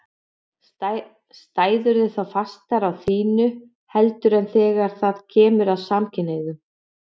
Stæðirðu þá fastar á þínu heldur en þegar það kemur að samkynhneigðum?